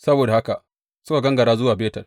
Saboda haka suka gangara zuwa Betel.